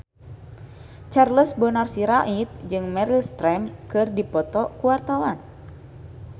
Charles Bonar Sirait jeung Meryl Streep keur dipoto ku wartawan